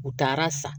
U taara san